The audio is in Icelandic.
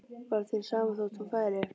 Var þér sama þótt hún færi?